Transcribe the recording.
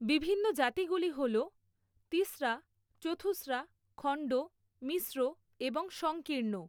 বিভিন্ন জাতিগুলি হল তিসরা, চথুসরা, খণ্ড, মিশ্র এবং সংকীর্ণ।